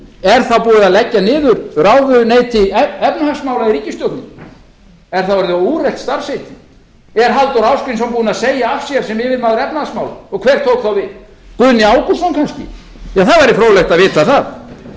er þá búið að leggja niður ráðuneyti efnahagsmála ríkisstjórnarinnar er það orðið úrelt starfsheiti er halldór ásgrímsson búinn að segja af sér sem yfirmaður efnahagsmála og hver tók þá við guðni ágústsson kannski það væri fróðlegt að vita